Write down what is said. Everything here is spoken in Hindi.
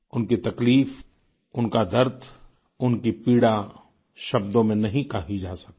उनकी तकलीफ उनका दर्द उनकी पीड़ा शब्दों में नहीं कही जा सकती